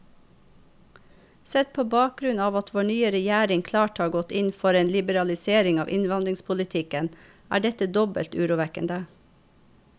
Sett på bakgrunn av at vår nye regjering klart har gått inn for en liberalisering av innvandringspolitikken, er dette dobbelt urovekkende.